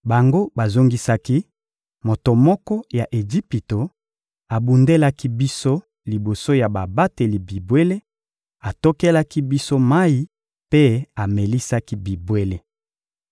Bango bazongisaki: — Moto moko ya Ejipito abundelaki biso liboso ya babateli bibwele, atokelaki biso mayi mpe amelisaki bibwele.